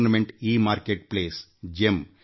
ಸರ್ಕಾರದ ಇ ಮಾರುಕಟ್ಟೆ ಪ್ರದೇಶ ಎಗೆಮ್